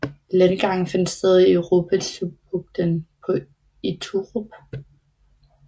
Landgangen fandt sted i Rubetzubugten på Iturup